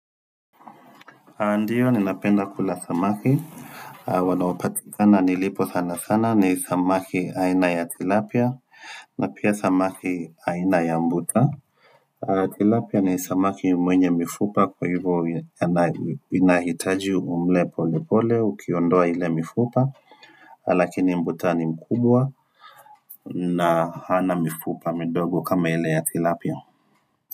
Ndio ni napenda kula samaki Wanaopatikana nilipo sana sana ni samaki aina ya tilapia na pia samaki aina ya mbuta Tilapia ni samaki mwenye mifupa kwa hivyo ana inahitaji umle pole pole ukiondoa ile mifupa Lakini mbuta ni mkubwa na hana mifupa midogo kama ile ya tilapia.